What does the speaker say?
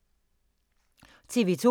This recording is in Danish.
TV 2